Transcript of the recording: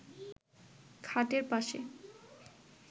খাটের পাশে